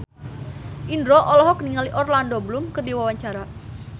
Indro olohok ningali Orlando Bloom keur diwawancara